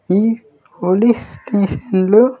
ఈ police station లో.